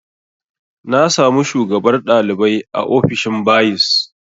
Na samu shugabar ɗalibai a ofishin bayis